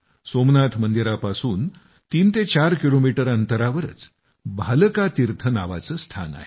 सोमनाथ मंदिरापासून 34 किलोमीटर अंतरावरच भालका तीर्थ नावाचं स्थान आहे